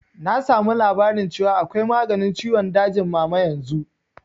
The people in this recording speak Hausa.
Na samu labarin cewa akwai maganin ciwon dajin mama yanzu